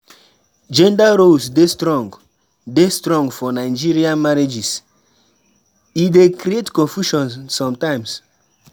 Gender roles dey strong dey strong for Nigerian marriages; e dey create confusion sometimes.